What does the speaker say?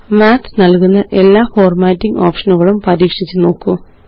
Mathനല്കുന്ന എല്ലാ ഫോര്മാറ്റിംഗ് ഓപ്ഷനുകളും പരീക്ഷിച്ചു നോക്കൂ